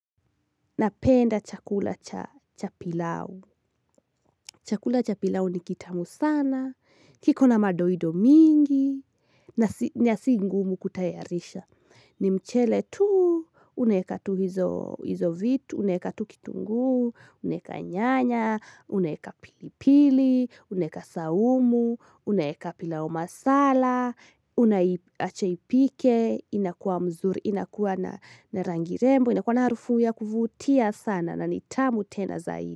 Napenda chakula cha pilau. Chakula cha pilau ni kitamu sana. Kiko na madoido mingi. Na si ngumu kutayarisha. Ni mchele tu. Unaeka tu hizo vitu. Unaeka tu kitunguu. Unaeka nyanya. Unaeka pilipili. Unaeka saumu. Unaeka pilau masala. Unaiacha ipike. Inakuwa mzuri. Inakuwa na rangi rembo. Inakuwa na harufu ya kuvutia sana. Na ni tamu tena zaidi.